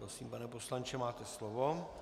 Prosím, pane poslanče, máte slovo.